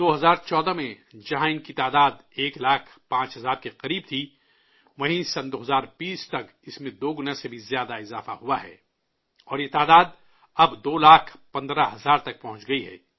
2014 میں جہاں ان کی تعداد ایک لاکھ 5 ہزار کے قریب تھی، وہیں 2020 تک اس میں دو گنے سے بھی زیادہ کا اضافہ ہوا ہے اور یہ تعداد اب 2 لاکھ 15 ہزار تک پہنچ گئی ہے